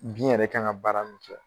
Bin yɛrɛ kan ŋa baara min kɛ